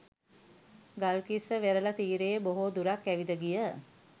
ගල්කිස්ස වෙරළ තීරයේ බොහෝ දුරක් ඇවිද ගිය